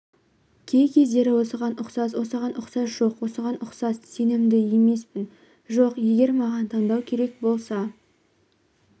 кей-кездері осыған ұқсас осыған ұқсас жоқ осыған ұқсас сенімді емеспін жоқ егер маған таңдау керек болса